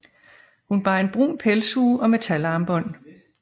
Hun bar en brun pelshue og metalarmbånd